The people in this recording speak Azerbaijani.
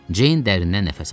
Ceyn dərindən nəfəs aldı.